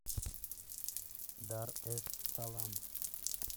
дар эс салам